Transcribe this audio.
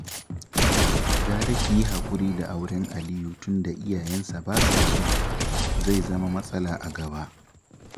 Gara ki haƙura da auren Aliyu tunda iyayensa ba sa so, zai zama matsala a gaba